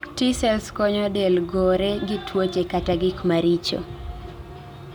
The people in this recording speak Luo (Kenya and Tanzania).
T cells konyo del gore gi tuoche kata gik maricho